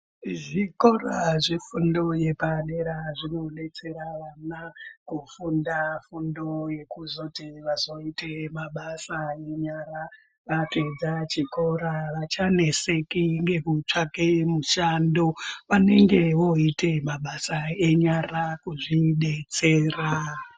Zvikora zvefundo yepadera zvinodetsera vana kufunda fundo yekuzoti vazoite mabasa enyara. Vapedza chikora havachanetseki nekutsvake mushando. Vanenge vooita mabasa enyara kuzvidetsera.